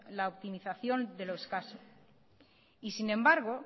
la optimización de lo escaso y sin embargo